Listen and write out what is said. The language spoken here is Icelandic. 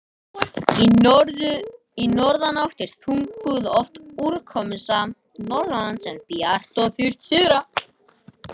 Í norðanátt er þungbúið og oft úrkomusamt norðanlands, en bjart og þurrt syðra.